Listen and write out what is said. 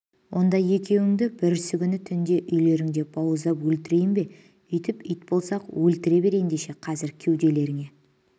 онда екеуіңді бүрсігүні түнде үйлеріңде бауыздап өлтірейін бе үйтіп ит болсақ өлтіре бер ендеше қазір кеуделеріңе